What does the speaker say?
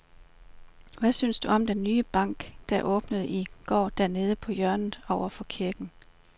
Hvad synes du om den nye bank, der åbnede i går dernede på hjørnet over for kirken?